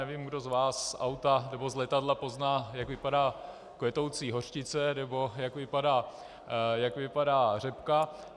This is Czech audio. Nevím, kdo z vás z auta nebo z letadla pozná, jak vypadá kvetoucí hořčice nebo jak vypadá řepka.